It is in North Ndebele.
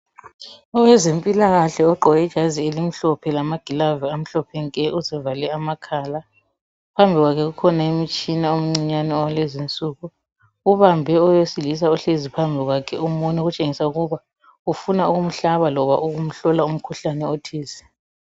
Owezempilakahle ogqoke ijazi elimhlophe lamagilavu amahlophe nke uzivale amakhala phambi kwakhe kukhona imitshina omncinyane owalezi nsuku ubambe owesilisa ohleli phambi kwakhe umunwe okutshengisela ukuba ufuna ukumhlaba loba ukumhlola umkhuhlane othize.